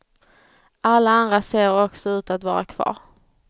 Alla andra ser också ut att vara kvar.